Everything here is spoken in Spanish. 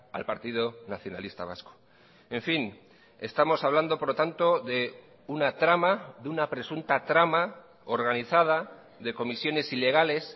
al partido nacionalista vasco en fin estamos hablando por lo tanto de una trama de una presunta trama organizada de comisiones ilegales